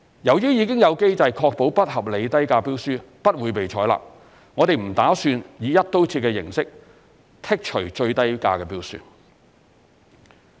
由於已有機制確保不合理低價標書不會被採納，我們不打算以"一刀切"形式剔除最低價標書。